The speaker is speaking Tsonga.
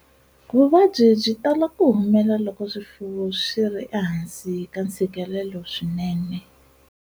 Vuvabyi byi tala ku humela loko swifuwo swi ri ehansi ka ntshikilelo swinene.